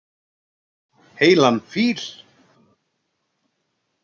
Heilan fíl.